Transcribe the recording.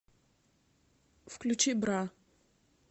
включи бра